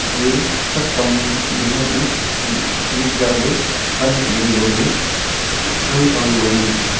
te thraktam gindah ga shi shinik jawley pan kuding loley gang kang galo ngan taiya.